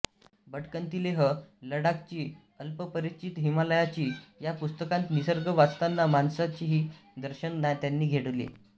भटकंती लेह लडाखची अल्पपरिचित हिमालयाची या पुस्तकांत निसर्ग वाचताना माणसांचेही दर्शन त्यांनी घडविले